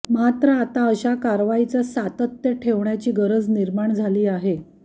मात्र आता अशा कारवाईचं सातत्य ठेवण्याची गरज निर्माण झाली आहे